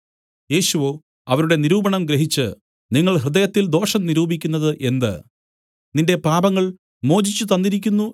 യേശുവോ അവരുടെ നിരൂപണം ഗ്രഹിച്ചു നിങ്ങൾ ഹൃദയത്തിൽ ദോഷം നിരൂപിക്കുന്നത് എന്ത് നിന്റെ പാപങ്ങൾ മോചിച്ചു തന്നിരിക്കുന്നു